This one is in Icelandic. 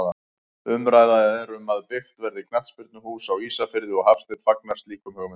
Umræða er um að byggt verði knattspyrnuhús á Ísafirði og Hafsteinn fagnar slíkum hugmyndum.